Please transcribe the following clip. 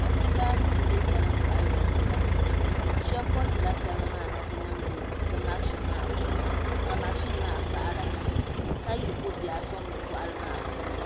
Nachimbi anii n bɛ salin boɣali ni n gbira shab koritila salima maa na ti niŋdi di mashin maa puuni ka mashin maa paɣara ka yihiri ko biɛɣu soŋdi boɣali maa puuni